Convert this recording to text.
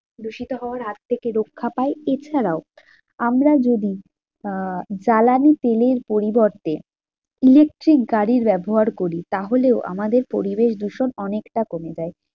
দূষিত হওয়ার হাত থেকে রক্ষা পায় এছাড়াও আমরা যদি আহ জ্বালানি তেলের পরিবর্তে electric গাড়ির ব্যবহার করি তাহলেও আমাদের পরিবেশ দূষণ অনেকটা কমে যায়